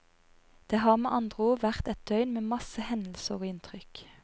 Det har med andre ord vært et døgn med masse hendelser og inntrykk.